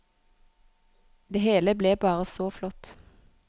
Det hele ble bare så flott.